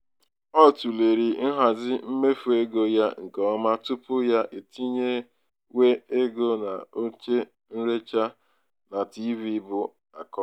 o tụlere nhazi um mmefu ego ya nke ọma tupu ya etinyewe ego n'oche nrecha na tiivii bu akọ.